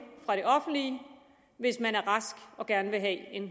fra det offentlige hvis man er rask og gerne vil have en